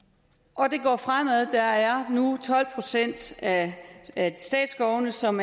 og det går fremad der er nu tolv procent af statsskovene som